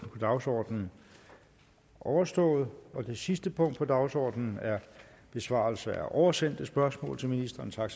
dagsordenen overstået og det sidste punkt på dagsordenen er besvarelse af oversendte spørgsmål til ministrene tak